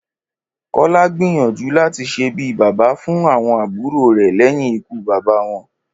Kó̩lá gbìyànjú láti s̩e bí bàbá fún àwo̩n àbúrò rè̩ lé̩yìn ikú bàbá wo̩n